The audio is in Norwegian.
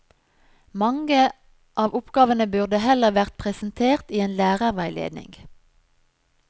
Mange av oppgavene burde heller vært presentert i en lærerveiledning.